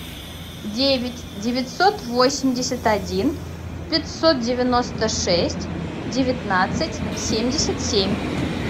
девять девятьсот восемьдесят один пятьсот девяносто шесть девятнадцать семьдесят семь